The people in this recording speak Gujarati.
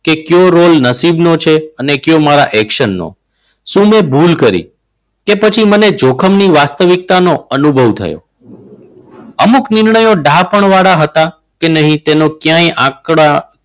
કે કયો રોલ નસીબનો છે કે કયો રોલ મારા action નો. શું મેં ભૂલ કરી? કે પછી મને જોખમ ની વાસ્તવિકતા નો અનુભવ થયો. અમુક નિર્ણયો ડાહાપણ વાળા હતા કે નહીં. કે તેનો ક્યાંય આંકડા,